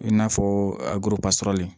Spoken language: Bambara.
I n'a fɔ a gorobasɔrɔlen